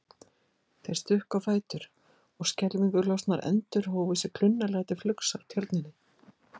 Þeir stukku á fætur og skelfingu lostnar endur hófu sig klunnalega til flugs af tjörninni.